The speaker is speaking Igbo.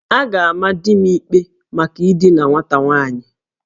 A ga-ama di m ikpe maka idina nwata nwaanyị